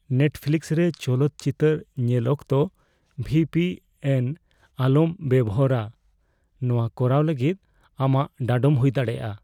Netflix ᱨᱮ ᱪᱚᱞᱚᱛ ᱪᱤᱛᱟᱹᱨ ᱧᱮᱞ ᱚᱠᱛᱚ ᱵᱷᱤ ᱯᱤ ᱮᱱ ᱟᱞᱚᱢ ᱵᱮᱵᱚᱦᱟᱨᱼᱟ ᱾ ᱱᱚᱣᱟ ᱠᱚᱨᱟᱣ ᱞᱟᱹᱜᱤᱫ ᱟᱢᱟᱜ ᱰᱟᱸᱰᱚᱢ ᱦᱩᱭ ᱫᱟᱲᱮᱭᱟᱜᱼᱟ ᱾